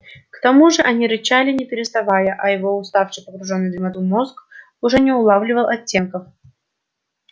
к тому же они рычали не переставая а его усталый погруженный в дремоту мозг уже не улавливал оттенков